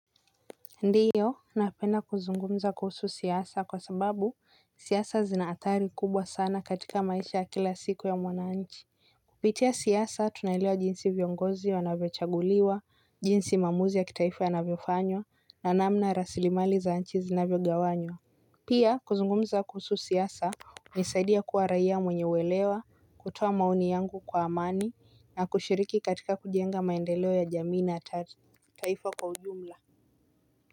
Ndiyo napenda kuzungumza kuhusu siasa kwa sababu siasa zina athari kubwa sana katika maisha ya kila siku ya mwananchi. Kupitia siasa tunaelewa jinsi viongozi wanavyochaguliwa, jinsi maamuzi ya kitaifu yanavyofanywa na namna rasilimali za nchi zinavyogawanywa. Pia kuzungumza kuhusu siasa hunisaidia kuwa raia mwenye uelewa, kutoa maoni yangu kwa amani na kushiriki katika kujenga maendeleo ya jamii na tati taifa kwa ujumla.